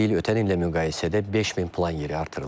Bu il ötən illə müqayisədə 5000 plan yeri artırılıb.